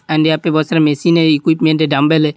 And यहाँ पे बहोत सारा मशीन है एकविप्मेंट है डंबल है।